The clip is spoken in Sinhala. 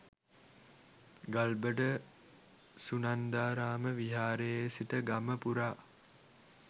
ගල්බඩ සුනන්දාරාම විහාරයේ සිට ගම පුරා